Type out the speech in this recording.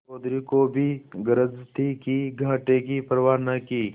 चौधरी को भी गरज थी ही घाटे की परवा न की